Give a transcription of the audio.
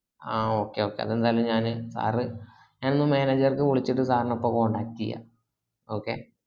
ആ okay okay അത് എന്തയലും ഞാൻ sir ഞാൻ ഒന്ന് manager ക് വിളിച്ചിട്ടു sir ന ഇപ്പോ contact യ്യ